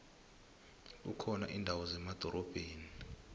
kukhona indawo zemadorobheni